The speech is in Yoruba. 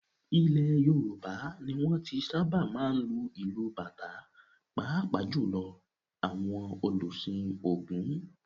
Ilẹ̀ Yorùbá ni wọn ti sábà máa ń lu ìlù bàtá pàápàá jù lọ àwọn òlùsìn Ògún.